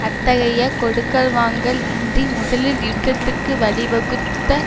அத்தகைய கொடுக்கல் வாங்கல் இன்றி முதலில் யுத்தத்துக்கு வழிவகுத்த